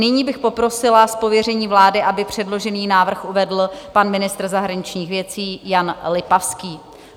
Nyní bych poprosila z pověření vlády, aby předložený návrh uvedl pan ministr zahraničních věcí Jan Lipavský.